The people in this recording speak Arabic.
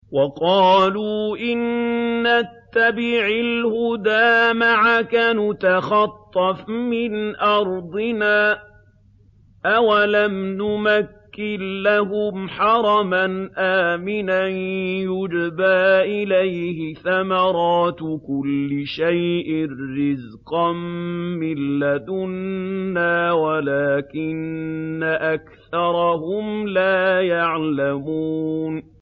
وَقَالُوا إِن نَّتَّبِعِ الْهُدَىٰ مَعَكَ نُتَخَطَّفْ مِنْ أَرْضِنَا ۚ أَوَلَمْ نُمَكِّن لَّهُمْ حَرَمًا آمِنًا يُجْبَىٰ إِلَيْهِ ثَمَرَاتُ كُلِّ شَيْءٍ رِّزْقًا مِّن لَّدُنَّا وَلَٰكِنَّ أَكْثَرَهُمْ لَا يَعْلَمُونَ